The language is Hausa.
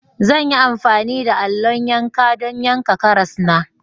Zan yi amfani da allo yanka don yanka karas na.